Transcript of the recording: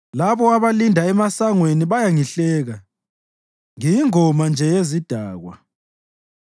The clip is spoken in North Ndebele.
Labo abalinda emasangweni bayangihleka, ngiyingoma nje yezidakwa.